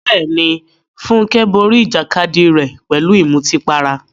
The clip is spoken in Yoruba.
Bẹ́ẹ̀ni, Funke borí ìjàkadì rẹ̀ pẹ̀lú ìmutípara.